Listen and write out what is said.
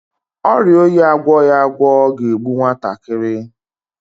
Ọrịa oyi agwọghi agwọ ga-egbu nwatakịrị.